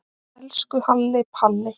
Elsku Halli Palli.